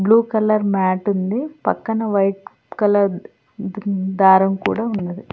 Blue colour mat ఉంది పక్కన white colour దారం కూడా ఉన్నది.